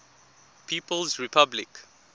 people s republic